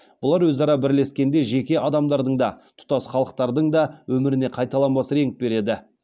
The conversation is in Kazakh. бұлар өзара бірлескенде жеке адамдардың да тұтас халықтардың да өміріне қайталанбас реңк береді